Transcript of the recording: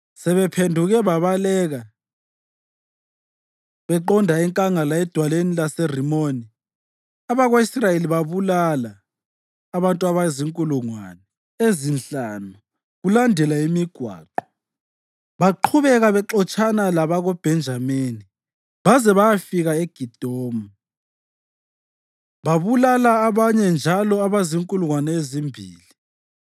Sebephenduke babaleka beqonda enkangala edwaleni laseRimoni, abako-Israyeli babulala abantu abazinkulungwane ezinhlanu kulandela imigwaqo. Baqhubeka bexotshana labakoBhenjamini baze bayafika eGidomu babulala abanye njalo abazinkulungwane ezimbili.